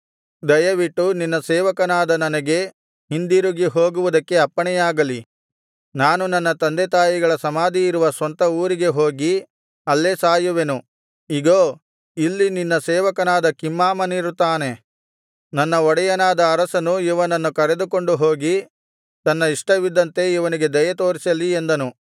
ದಯವಿಟ್ಟು ನಿನ್ನ ಸೇವಕನಾದ ನನಗೆ ಹಿಂದಿರುಗಿ ಹೋಗುವುದಕ್ಕೆ ಅಪ್ಪಣೆಯಾಗಲಿ ನಾನು ನನ್ನ ತಂದೆತಾಯಿಗಳ ಸಮಾಧಿಯಿರುವ ಸ್ವಂತ ಊರಿಗೆ ಹೋಗಿ ಅಲ್ಲೇ ಸಾಯುವೆನು ಇಗೋ ಇಲ್ಲಿ ನಿನ್ನ ಸೇವಕನಾದ ಕಿಮ್ಹಾಮನಿರುತ್ತಾನೆ ನನ್ನ ಒಡೆಯನಾದ ಅರಸನು ಇವನನ್ನು ಕರೆದುಕೊಂಡು ಹೋಗಿ ತನ್ನ ಇಷ್ಟವಿದ್ದಂತೆ ಇವನಿಗೆ ದಯೆತೋರಿಸಲಿ ಎಂದನು